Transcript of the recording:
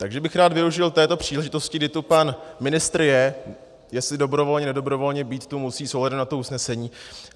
Takže bych rád využil této příležitosti, kdy tu pan ministr je, jestli dobrovolně, nedobrovolně, být tu musí s ohledem na to usnesení.